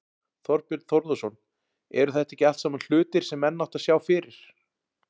Þorbjörn Þórðarson: Eru þetta ekki allt saman hlutir sem menn áttu að sjá fyrir?